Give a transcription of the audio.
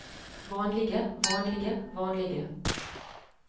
vanlige vanlige vanlige